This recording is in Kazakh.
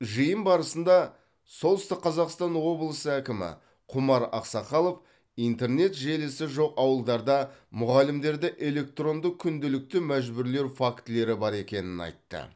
жиын барысында солтүстік қазақстан облысы әкімі құмар ақсақалов интернет желісі жоқ ауылдарда мұғалімдерді электронды күнделікті мәжбүрлеу фактілері бар екенін айтты